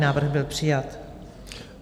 Návrh byl přijat.